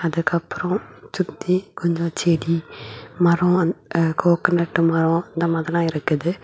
அதுக்கப்புறம் சுத்தி கொஞ்சம் செடி மரம் அ கோகனட் மாரோ இந்த மாதிரி எல்லா இருக்குது.